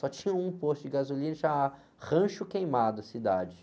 Só tinha um posto de gasolina, chamava Rancho Queimado a cidade.